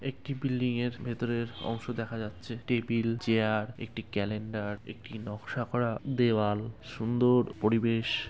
একটি বিল্ডিং এর ভেতরের অংশ দেখা যাচ্ছে টেবিল চেয়ার একটি ক্যালেন্ডার একটি নকশা করা দেওয়াল সুন্দ-অ-র পরিবেশ।